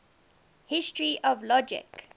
history of logic